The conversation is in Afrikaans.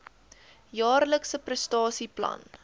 jaarlikse prestasie plan